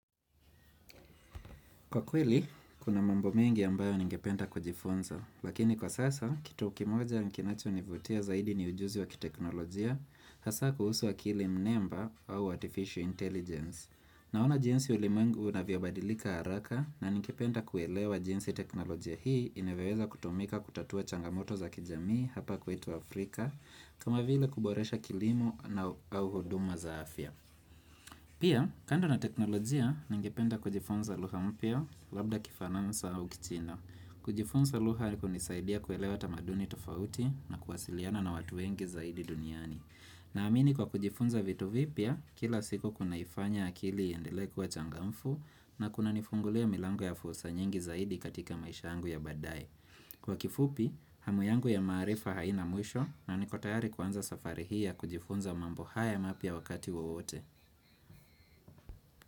Kwa kweli, kuna mambo mengi ambayo ningependa kujifunza, lakini kwa sasa, kitu kimoja kinacho nivutia zaidi ni ujuzi wa kiteknolojia, hasa kuhusu wa akili mnemba au artificial intelligence. Naona jinsi ulimwengu unavyo badilika haraka, na ningependa kuelewa jinsi teknolojia hii, inavyoweza kutumika kutatua changamoto za kijamii hapa kwetu Afrika, kama vile kuboresha kilimo na au huduma za afya. Pia, kando na teknolojia, ningependa kujifunza lugha mpya labda kifaransa au kichina. Kujifunza lugha ni kunisaidia kuelewa tamaduni tofauti na kuwasiliana na watu wengi zaidi duniani. Na amini kwa kujifunza vitu vipya, kila siku kunaifanya akili iendelee kuwa changamfu na kuna nifungulia milango ya fursa nyingi zaidi katika maisha yangu ya baadaye. Kwa kifupi, hamu yangu ya maarifa haina mwisho na niko tayari kuanza safari hii ya kujifunza mambo haya mapya wakati wowote.